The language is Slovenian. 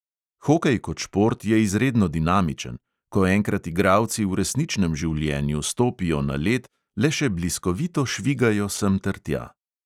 Hokej kot šport je izredno dinamičen, ko enkrat igralci v resničnem življenju stopijo na led, le še bliskovito švigajo sem ter tja.